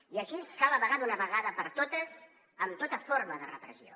i aquí cal acabar d’una vegada per totes amb tota forma de repressió